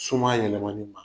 Suma yɛlɛmani na.